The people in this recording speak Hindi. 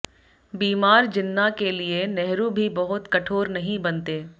बीमार जिन्ना के लिए नेहरू भी बहुत कठोर नहीं बनते